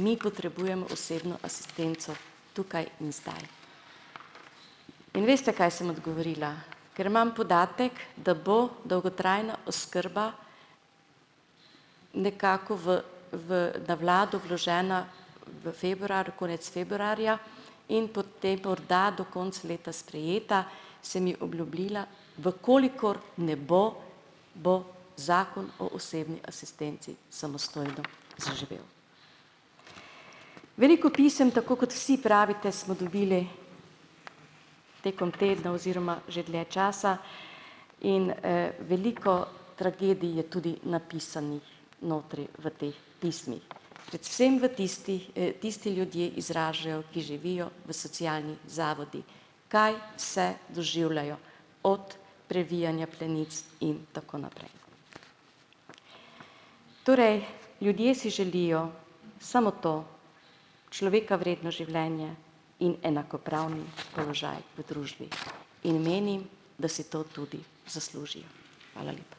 Mi potrebujemo osebno asistenco tukaj in zdaj." In veste, kaj sem odgovorila, ker imam podatek, da bo dolgotrajna oskrba nekako v v na vlado vložena v februar, konec februarja, in potem morda do konca leta sprejeta, sem ji obljubila, v kolikor ne bo, bo, Zakon o osebni asistenci samostojno zaživel. Veliko pisem, tako kot vsi pravite, smo dobili tekom tedna oziroma že dlje časa in, veliko tragedij je tudi napisanih notri v teh pismih. Predvsem v tistih, tisti ljudje izražajo, ki živijo v socialnih zavodih, kaj vse doživljajo, od previjanja plenic in tako naprej. Torej, ljudje si želijo samo to, človeka vredno življenje in enakopravni položaj v družbi in menim, da si to tudi zaslužijo. Hvala lepa.